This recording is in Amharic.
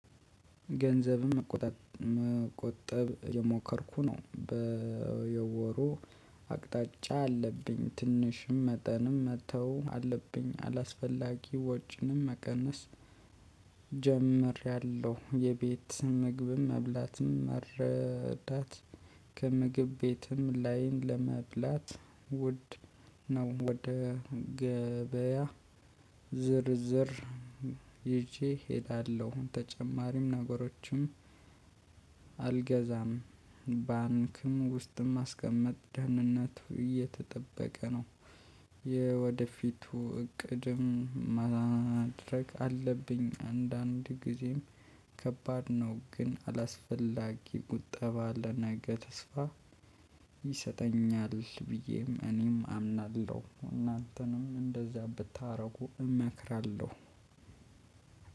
ገንዘብም መቆጣጥ መቆጠብ እየሞከርኩ ነው በየወሩ አቅጣጫ አለብኝ ትንሽም መጠንም መተው አለብኝ አላስፈላጊ ወጪንም መቀነስ። ጀምሬያለሁ የቤት ምግብም መብላትም መረዳት። ከምግብ ቤትም ላይን ለመብላት ውድ ነው። ወደ ገበያ ዝርዝር ይዤ ሄዳለሁ ተጨማሪም ነገሮችም። አልገዛም ባንክም ውስጥም ማስቀመጥ ደህንነቱ እየተጠበቀ ነው። የወደፊቱ እቅድም ማድረግ አለብኝ አንዳንድ ጊዜም ከባድ ነው። ግን አላስፈላጊ ቁጠባ ለነገ ተስፋ ይሰጠኛል ብዬም እኔም አምናለሁ። እናንተንም እንደዛ ብታደርጉ እመክራለሁ።